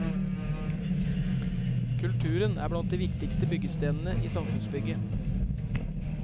Kulturen er blant de viktigste byggestenene i samfunnsbygget.